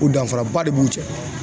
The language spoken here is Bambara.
O danfaraba de b'u cɛ.